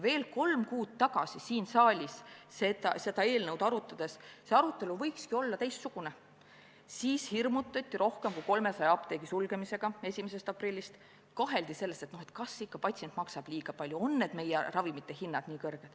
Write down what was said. Kolm kuud tagasi siin saalis seda eelnõu arutades – see arutelu võinuks olla teistsugune – hirmutati rohkem kui 300 apteegi sulgemisega alates 1. aprillist ja kaheldi selles, kas patsient ikka maksab liiga palju, kas meie ravimite hinnad ikka on nii kõrged.